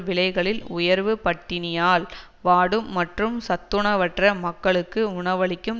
விலைகளில் உயர்வு பட்டினியால் வாடும் மற்றும் சத்துணவற்ற மக்களுக்கு உணவளிக்கும்